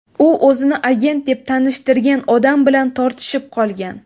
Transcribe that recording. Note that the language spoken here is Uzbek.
U o‘zini agent deb tanishtirgan odam bilan tortishib qolgan.